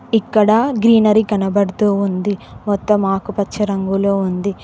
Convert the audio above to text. ఇక్కడా గ్రీనరీ కనబడుతూ ఉంది మొత్తం ఆకుపచ్చ రంగులో ఉంది.